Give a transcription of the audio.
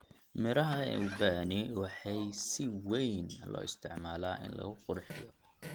Midhaha ee ubani waxay si weyn loo isticmaalaa in lagu qurxiyo.